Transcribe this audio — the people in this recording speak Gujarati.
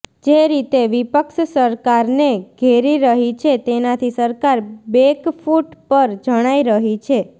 જે રીતે વિપક્ષ સરકારને ઘેરી રહી છે તેનાથી સરકાર બેકફૂટ પર જણાઈ રહી છે